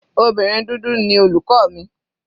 Obìnrin dúdú ni olùkọ́ mi.